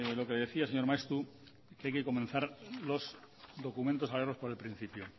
lo que le decía señor maeztu que hay que comenzar los documentos por el principio